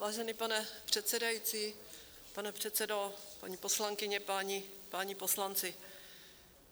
Vážený pane předsedající, pane předsedo, paní poslankyně, páni poslanci.